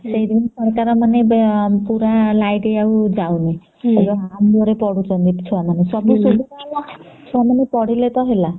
ସେଇଦିନୁ ସରକାର ମାନେ ପୁରା ଲାଇଟ ଆଉ ଯାଉନି ସେଇ ଆଲୁଅ ରେ ପଢୁଛନ୍ତି ଛୁଆ ମାନେ ସବୁ ସୁବିଧା ହେଲା ଛୁଆ ମାନେ ପଢିଲେ ତ ହେଲା